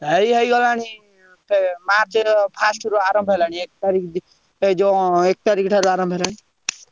ଏଇ ହେଇଗଲାଣି March first ରୁ ଆରମ୍ଭ ହେଲାଣି ଏକ ତାରିଖ ଠାରୁ ଏ ଯଉ ଏକ ତାରିଖ ଠାରୁ ଆରମ୍ଭ ହେଲାଣି।